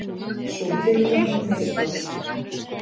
Sú tilraun mistókst